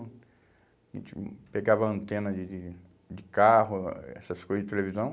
A gente pegava antena de de de carro, ah essas coisas de televisão.